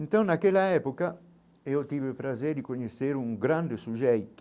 Então, naquela época, eu tive o prazer de conhecer um grande sujeito